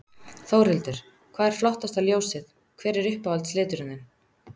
Þórhildur: Hvað er flottasta ljósið, hver er uppáhalds liturinn þinn?